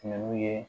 ye